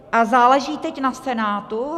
A záleží teď na Senátu.